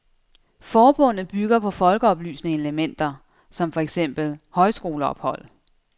Forbundet bygger på folkeoplysende elementer, som for eksempel højskoleophold.